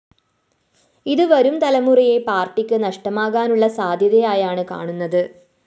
ഇത്‌ വരും തലമുറയെ പാര്‍ട്ടിക്ക്‌ നഷ്ടമാകാനുള്ള സാധ്യതയായാണ്‌ കാണുന്നത്‌